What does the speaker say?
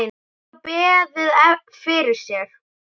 Er þá beðið fyrir sér.